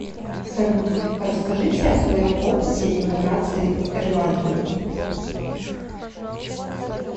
салют расскажите о своем опыте иммиграциии в ирландию